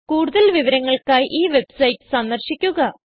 കൂടുതൽ വിവരങ്ങൾക്കായി ഈ വെബ്സൈറ്റ് സന്ദർശിക്കുക